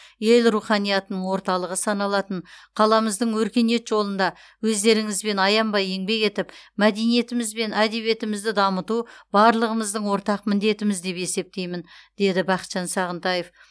ел руханиятының орталығы саналатын қаламыздың өркениет жолында өздеріңізбен аянбай еңбек етіп мәдениетіміз бен әдебиетімізді дамыту барлығымыздың ортақ міндетіміз деп есептеймін деді бақытжан сағынтаев